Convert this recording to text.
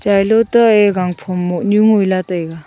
yailo ta e gangphom moh nyu ngoi la taiga.